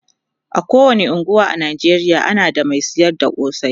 a kowani unguwa a Najeriya ana da Mai sayar da kosai